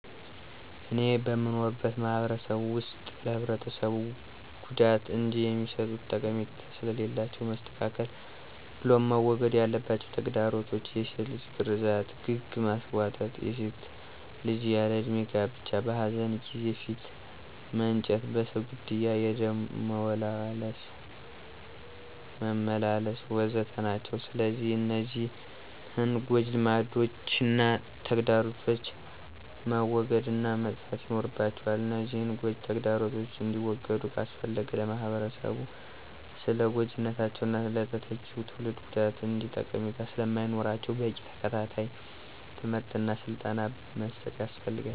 እኔ በምኖርበት ማህበረሰብ ውስጥ ለህብረተሰቡ ጉዳት እንጅ የሚሰጡት ጠቀሜታ ስለሌላቸው መስተካከል ብሎም መወገድ ያለባቸው ተግዳሮቶች፣ የሴት ልጅ ግርዛት፣ ግግ ማስቧጠጥ፣ የሴት ልጅ ያለ እድሜ ጋብቻ፣ በኃዘን ጊዜ ፊት መንጨት፣ በሰው ግድያ የደም መመላለስ፣ ወ.ዘ.ተ... ናቸው። ስለዚህ እነዚህን ጎጅ ልማዶችና ተግዳሮቶች መወገድ እና መጥፋት ይኖርባቸዋል፤ እነዚህን ጎጅ ተግዳሮቶች እንዲወገዱ ካስፈለገ ለማህበረሰቡ ስለጎጅነታቸውና ለተተኪው ትውልድ ጉዳት እንጅ ጠቀሜታ ስለማይኖራቸው በቂ ተከታታይ ትምህርት እና ስልጠና መስጠት ያስፈልጋል።